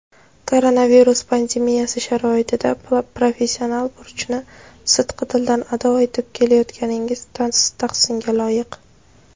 koronavirus pandemiyasi sharoitida professional burchni sidqidildan ado etib kelayotganingiz tahsinga loyiq.